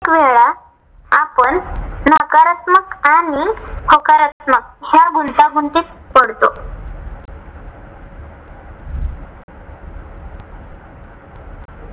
अनेक वेळा आपण नकारात्मक आणि होकारात्मक ह्या गुंतागुंतीत पडतो.